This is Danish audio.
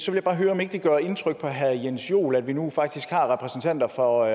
jeg bare høre om ikke det gør indtryk på herre jens joel at vi nu faktisk har repræsentanter for